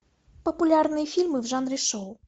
популярные фильмы в жанре шоу